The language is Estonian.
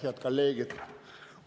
Head kolleegid!